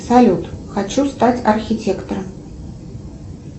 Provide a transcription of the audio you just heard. салют хочу стать архитектором